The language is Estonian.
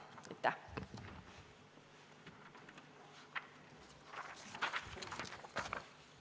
Aitäh!